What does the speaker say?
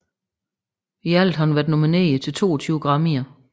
I alt har hun været nomineret til 22 Grammyer